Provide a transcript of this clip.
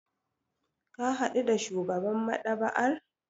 Ka hadu da shugaban maɗaba'ar?